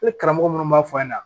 E karamɔgɔ munnu b'a fɔ a ɲɛna